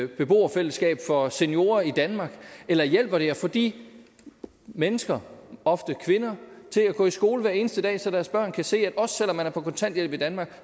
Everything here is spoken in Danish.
beboerfællesskab for seniorer i danmark eller hjælper det at få de mennesker ofte kvinder til at gå i skole hver eneste dag så deres børn kan se at også selv om man er på kontanthjælp i danmark